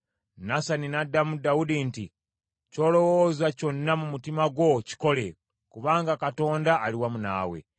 Nasani n’addamu Dawudi nti, “Ky’olowooza kyonna mu mutima gwo kikole, kubanga Katonda ali wamu naawe.”